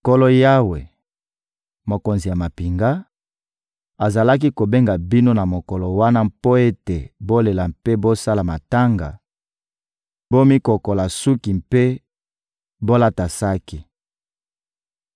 Nkolo Yawe, Mokonzi ya mampinga, azalaki kobenga bino na mokolo wana mpo ete bolela mpe bosala matanga, bomikokola suki mpe bolata saki.